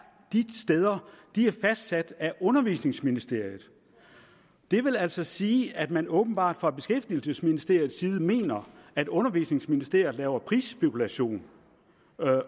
de steder er fastsat af undervisningsministeriet det vil altså sige at man åbenbart fra beskæftigelsesministeriets side mener at undervisningsministeriet laver prisspekulation